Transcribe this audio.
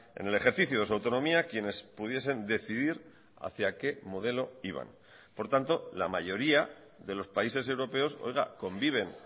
en el ejercicio de su autonomía quienes pudiesen decidir hacia qué modelo iban por tanto la mayoría de los países europeos conviven